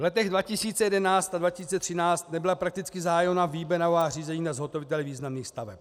V letech 2011 až 2013 nebyla prakticky zahájena výběrová řízení na zhotovitele významných staveb.